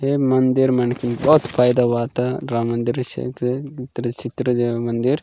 हेम मंदिर मनके वत पैदा वाता राम मंदिर रिसेंट त्रि छित्र ज मंदिर --